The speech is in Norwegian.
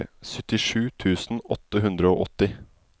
syttisju tusen åtte hundre og åtti